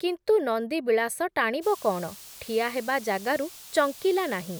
କିନ୍ତୁ ନନ୍ଦିବିଳାସ ଟାଣିବ କ’ଣ, ଠିଆ ହେବା ଜାଗାରୁ ଚଙ୍କିଲା ନାହିଁ ।